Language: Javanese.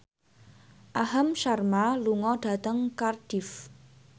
Aham Sharma lunga dhateng Cardiff